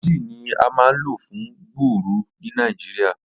Flagyl ni a maa n lo fun gbuuru ni Nigeria.